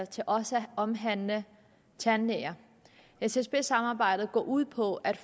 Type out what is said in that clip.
til også at omhandle tandlæger ssd samarbejdet går ud på at